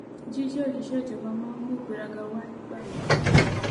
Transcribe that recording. jíjẹ òṣìṣẹ ìjọba máa ń mú ìgbéraga wá nígbà mìíràn